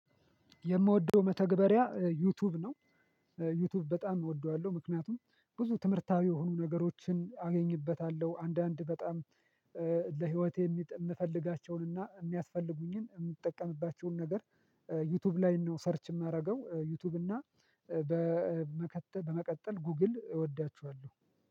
የምወደው መተግበሪያ ዩቲዩብ ነው። ዩቲዩብ በጣም እወደዋለሁ ምክንያቱም ብዙ ትምህርታዊ የሆኑ ነገሮችን አገኝበታለሁ አንዳንድ በጣም ለህይወቴ የምፈልጋቸውንና የሚያስፈልጉኝን የምጠቀምባቸውን ነገር ዩቲዩብ ላይ ነው ሰርች የማደርገው ዩቲዩብ እና በመቀጠል ጉግል እወዳችኋለሁ